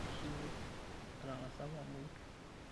Aishiwuo atang'asa apa amuoi.